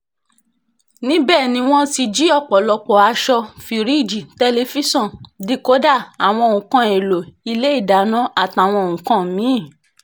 níbẹ̀ ni wọ́n ti jí ọ̀pọ̀lọpọ̀ aṣọ fíríìjì tẹlifíṣàn díkòdá àwọn nǹkan èèlò ilé ìdáná àtàwọn nǹkan mì-ín